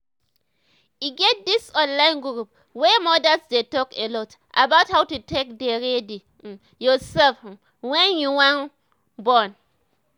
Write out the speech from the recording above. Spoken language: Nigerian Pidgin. e get this online group wey modas dey talk alot about how to take dey ready um yourself um wen you wan um born